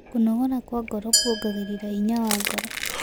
Kũnogora kwa ngoro kũongagĩrĩra hinya wa ngoro